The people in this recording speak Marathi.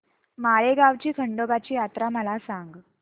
माळेगाव ची खंडोबाची यात्रा मला सांग